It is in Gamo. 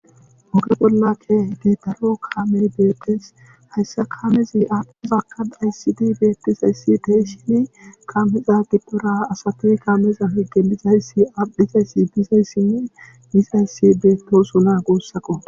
Oge bolla kehid daro kaamel beettes hayssa kaamezi ahpozakka aysidi beettizayssi teeshin kaameza giddora asatuy kaameza hige bizayssi aphizayssi bizayssinne bizayssi beettosuna goossaqo